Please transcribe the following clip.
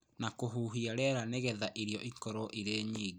Na kũhuhia rĩera nĩgetha irio ikorũo irĩ nyingĩ